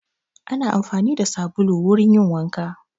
Ana amfani da sabulu wurin yin wanka.